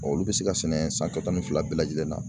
Olu bɛ se ka sɛnɛ san kalo tan ni fila bɛɛ lajɛlen na.